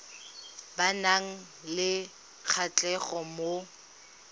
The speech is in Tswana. ba nang le kgatlhego mo